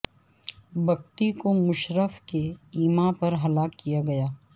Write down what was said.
بگٹی کو مشرف کے ایما پر ہلاک کیا گیا